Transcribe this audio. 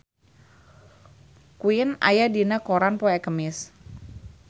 Queen aya dina koran poe Kemis